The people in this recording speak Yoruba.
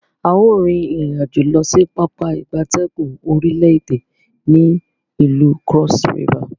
A o rin irin-ajo losi Pápá ìgbatẹ́gùn orile ede ni ilu Cross River.